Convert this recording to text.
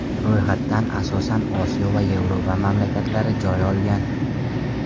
Ro‘yxatdan asosan Osiyo va Yevropa mamlakatlari joy olgan.